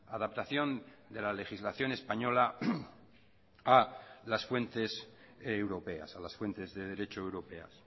adaptación de la legislación española a las fuentes europeas a las fuentes de derecho europeas